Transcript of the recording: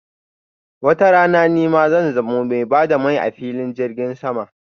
watarana nima zan zamo mai ba da mai a filin jirgin sama.